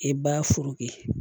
E ba furu kɛ